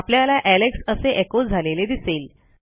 आपल्याला एलेक्स असे echoझालेले दिसेल